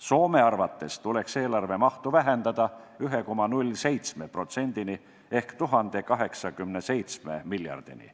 Soome arvates tuleks eelarve mahtu vähendada 1,07%-ni ehk 1087 miljardini.